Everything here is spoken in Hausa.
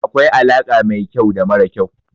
Akwai alaƙa mai kyau da mara kyau.